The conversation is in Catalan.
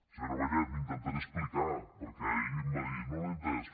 senyora vallet m’intentaré explicar perquè ahir em va dir no l’he entès